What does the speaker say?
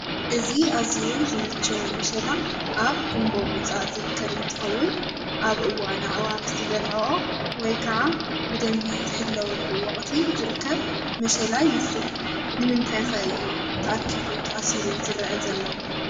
እዚ ኣዝዩ ዝመቸዎ መሸላ ኣብ ጉንቦ ምውፃእ ዝርከብ እንትኸውን ኣብ እዋን ኣዕዋፍ ዝበለዖኦ ወይ ከዓ ብደንቢ ዝሕለወሉ ወቕቲ ዝርከብ መሸላ ይመስል፡፡ ንምንታይ ከ እዩ ተኣኪቡ ተኣሲሩ ዝረአ ዘሎ?